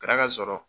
Kɛra ka sɔrɔ